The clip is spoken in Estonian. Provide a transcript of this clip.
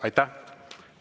Aitäh!